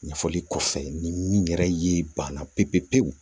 Ɲɛfɔli kɔfɛ ni n yɛrɛ ye banna pewu pewu